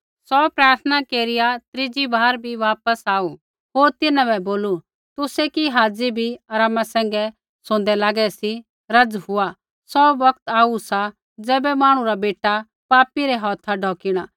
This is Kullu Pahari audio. सौ प्रार्थना केरिया त्रीजी बार भी वापस आऊ होर तिन्हां बै बोलू तुसै कि हाज़ी बी आरामा सैंघै सोंदै लागै सी रज़ हुआ सौ बौगत आऊ सा ज़ैबै मांहणु रा बेटा पापी रै हौथा ढौकिणा